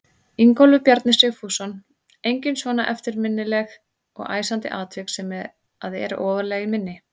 Ingólfur Bjarni Sigfússon: Engin svona eftirminnileg og æsandi atvik sem að eru ofarlega í minni?